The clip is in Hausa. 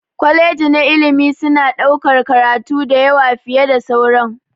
kwaleji na ilimi suna ɗaukar karatu da yawa fiye da sauran.